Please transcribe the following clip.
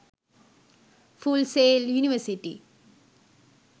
full sail university